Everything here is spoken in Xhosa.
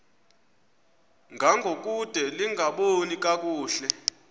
ngangokude lingaboni kakuhle